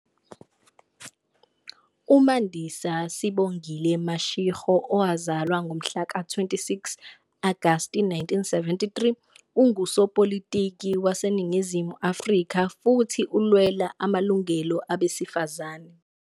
UMandisa Sibongile Mashego, owazalwa ngomhla ka-26 Agasti 1973, ungusopolitiki waseNingizimu Afrika futhi ulwela amalungelo abesifazane.